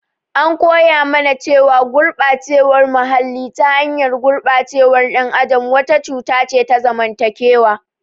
An koya mana cewa gurɓacewar muhalli, ta hanyar ɓacewar ɗan adam wata cuta ce ta zamantakewa.